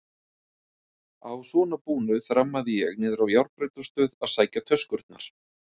Að svo búnu þrammaði ég niðrá járnbrautarstöð að sækja töskurnar.